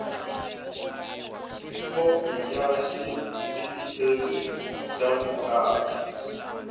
khopi ya xitifikheti xa vukati